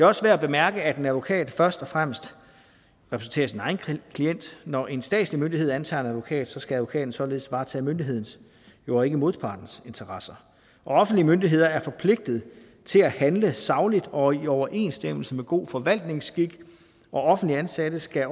også værd at bemærke at en advokat først og fremmest repræsenterer sin egen klient når en statslig myndighed antager en advokat skal advokaten således varetage myndighedens og jo ikke modpartens interesser og offentlige myndigheder er forpligtet til at handle sagligt og i overensstemmelse med god forvaltningsskik og offentligt ansatte skal